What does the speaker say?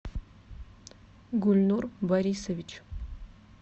гульнур борисович